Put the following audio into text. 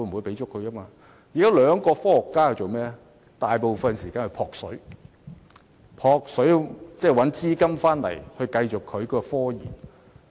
現在該兩位科學家大部分時間在"撲水"，尋找資金繼續進行研究。